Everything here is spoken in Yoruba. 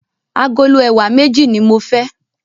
Agolo ẹ̀wà méjì ní mo fẹ́.